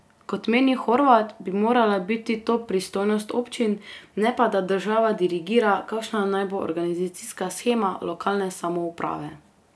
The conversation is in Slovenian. Kot meni Horvat, bi morala biti to pristojnost občin, ne pa da država dirigira, kakšna naj bo organizacijska shema lokalne samouprave.